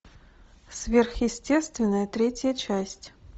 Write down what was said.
сверхъестественное третья часть